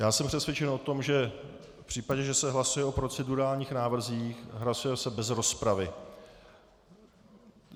Já jsem přesvědčen o tom, že v případě, že se hlasuje o procedurálních návrzích, hlasuje se bez rozpravy.